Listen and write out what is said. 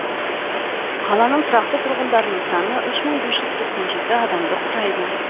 қаланың тұрақты тұрғындарының саны үш мың бес жүз тоқсан жеті адамды құрайды